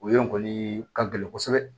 O yɔrɔ in kɔni ka gɛlɛn kosɛbɛ